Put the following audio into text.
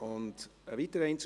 Es gibt hier drin